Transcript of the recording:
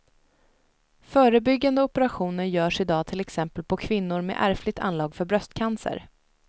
Förebyggande operationer görs i dag till exempel på kvinnor med ärftligt anlag för bröstcancer.